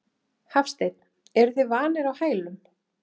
Hafsteinn: Eruð þið vanir á hælum?